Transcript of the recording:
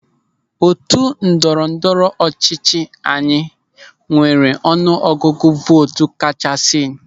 Otu ndọrọ ndọrọ ọchịchị anyị nwere ọnụ ọgụgụ vootu kachasị.